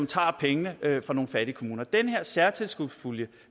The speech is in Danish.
tager pengene fra nogle fattige kommuner den her særtilskudspulje